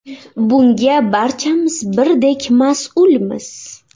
Bunga barchamiz birdek mas’ulmiz.